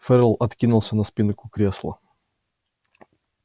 ферл откинулся на спинку кресла